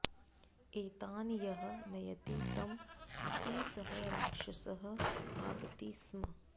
एतान् यः नयति तम् अपि सः राक्षसः खादति स्म